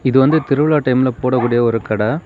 இது வந்து திருவிழா டைம்ல போடக்கூடிய ஒரு கடெ.